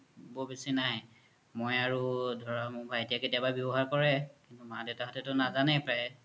বহু বেছি নাই মই আৰু মোৰ ভাইতিয়ে ব্যৱহাৰ কৰে মা দেউতা হতেতু নাজানে প্ৰায়ে